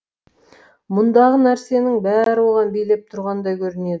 мұндағы нәрсенің бәрі оған билеп тұрғандай көрінеді